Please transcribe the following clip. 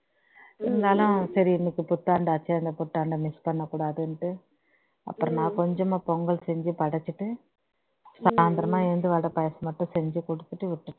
இருந்தாலும் இன்னைக்கு புத்தாண்டாச்சே புத்தாண்டை miss பண்ணக்கூடாதுன்னுட்டு அப்புறம் நான் கொஞ்சமா பொங்கல் செஞ்சு படைச்சிட்டு சாயந்திரமா எழுந்து வடை பாயசம் மட்டும் செஞ்சு குடுத்துட்டு விட்டுட்டேன்